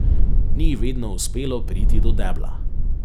Ni ji vedno uspelo priti do debla.